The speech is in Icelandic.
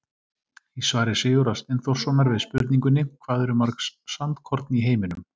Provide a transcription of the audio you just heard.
Í svari Sigurðar Steinþórssonar við spurningunni Hvað eru mörg sandkorn í heiminum?